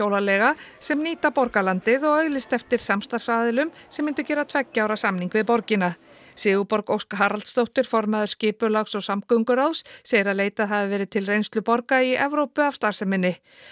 hjólaleiga sem nýta borgarlandið og auglýsti eftir samstarfsaðilum sem myndu gera tveggja ára samning við borgina Sigurborg Ósk Haraldsdóttir formaður skipulags og samgönguráðs segir leitað hafi verið til reynslu borga í Evrópu af starfseminni